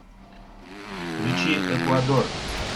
включи эквадор